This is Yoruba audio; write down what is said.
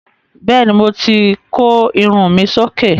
Bẹ́ẹ̀ ni, mo ti kó irun mi sí òkè.